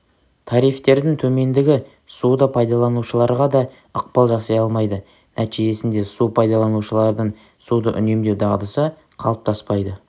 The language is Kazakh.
тарифтердің төмендігі суды пайдаланушыларға да ықпал жасай алмайды нтижесінде су пайдаланушыларының суды үнемдеу дағдысы қалыптаспайды